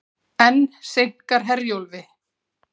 Enn seinkar Herjólfi